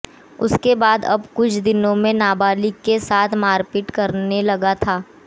उसके बाद अब कुछ दिनों से नाबालिग के साथ मारपीट करने लगा था